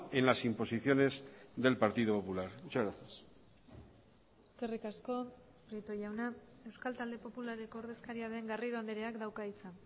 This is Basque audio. en las imposiciones del partido popular muchas gracias eskerrik asko prieto jauna euskal talde popularreko ordezkaria den garrido andreak dauka hitza